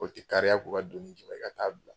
O ti kariya k'u ka dumini j'i ba i ka taa a bila.